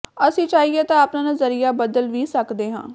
ਅਸੀਂ ਚਾਹੀਏ ਤਾਂ ਆਪਣਾ ਨਜ਼ਰੀਆ ਬਦਲ ਵੀ ਸਕਦੇ ਹਾਂ